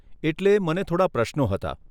એટલે મને થોડાં પ્રશ્નો હતા.